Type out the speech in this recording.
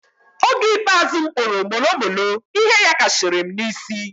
Oge ikpeazụ m kpuru molo molo ihe yakashiri m na isi